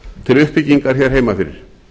til uppbyggingar hér heima fyrir